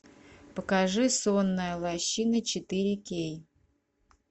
покажи сонная лощина четыре кей